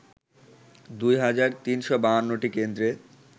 দুই হাজার ৩৫২টি কেন্দ্রে